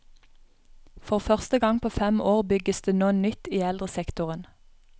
For første gang på fem år bygges det nå nytt i eldresektoren.